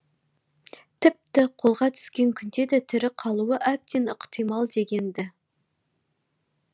тіпті қолға түскен күнде де тірі қалуы әбден ықтимал деген ді